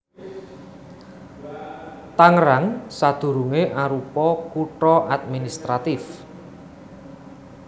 Tangerang sadurungé arupa kutha administratif